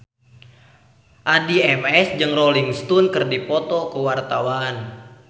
Addie MS jeung Rolling Stone keur dipoto ku wartawan